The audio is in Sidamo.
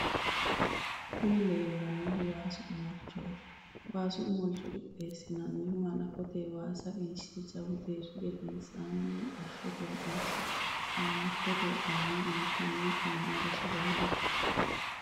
kuni leellanohu waasu omolichoti. waasu omolicho qixxeesinannihu hanafote waasa qinshe jawu deerri gedensanni mixashote rainse qaamatote qaamme intanni coomado sagaleeti.